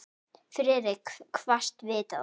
Friðrik kvaðst vita það.